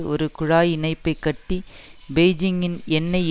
ஒரு குழாய் இணைப்பை கட்டி பெய்ஜிங்கின் எண்ணெய்